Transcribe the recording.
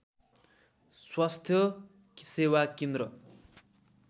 स्वास्थ्य सेवा केन्द्र